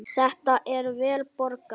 Þetta er vel borgað.